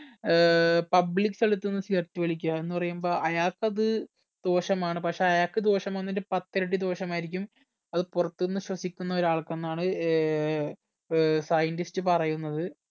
ഏർ public സ്ഥലത്തു നിന്നും cigarette വലിക്കുക എന്ന് പറയുമ്പോ അയാക്കത് ദോഷമാണ് പക്ഷെ അയാക്ക് ദോഷം വരുന്നതിന്റെ പത്ത് ഇരട്ടി ദോഷമായിരിക്കും അത് പുറത്തുന്നു ശ്വസിക്കുന്ന ഒരാൾക്ക് എന്നാണ് ഏർ ഏർ scientist പറയുന്നത്